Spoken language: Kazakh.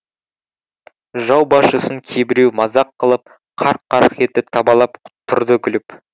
жау басшысын кейбіреу мазақ қылып қарқ қарқ етіп табалап тұрды күліп